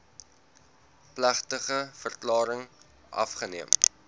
plegtige verklaring afgeneem